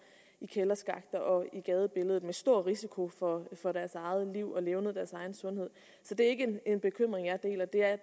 i kælderskakter og i gadebilledet med stor risiko for for deres eget liv og levned og deres egen sundhed så det er ikke en bekymring jeg deler der er